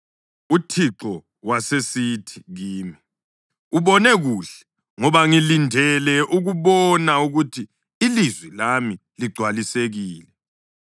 UThixo wasesithi kimi, “Ubone kuhle, ngoba ngilindele ukubona ukuthi ilizwi lami ligcwalisekile.”